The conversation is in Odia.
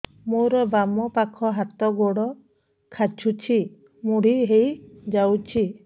ମୋର ବାମ ପାଖ ହାତ ଗୋଡ ଖାଁଚୁଛି ମୁଡି ହେଇ ଯାଉଛି